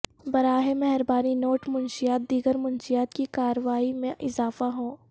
براہ مہربانی نوٹ منشیات دیگر منشیات کی کارروائی میں اضافہ ہو